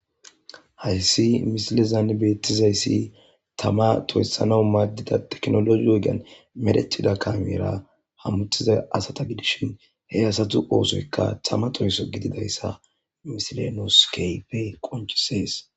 Hayssi misilezaan beettizayssi tama toyssanau maaddida teknologi ogean medetida kamera hamutiza asata gidishin he asatu oosoykka tama toyso gididayssa misilenoskeypey qonchisees.